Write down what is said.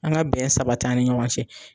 An ga bɛn sabati an ni ɲɔgɔn cɛ